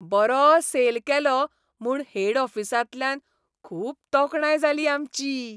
बरो सेल केलो म्हूण हेड ऑफिसांतल्यान खूब तोखणाय जाली आमची.